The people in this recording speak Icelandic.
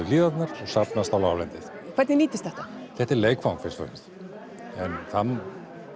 hlíðarnar og safnast á láglendið hvernig nýtist þetta þetta er leikfang fyrst og fremst en það